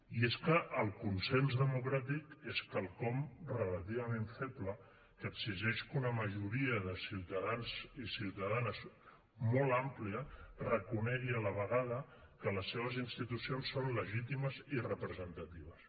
i és que el consens democràtic és quelcom relativament feble que exigeix que una majoria de ciutadans i ciutadanes molt àmplia reconegui a la vegada que les seves institucions són legítimes i representatives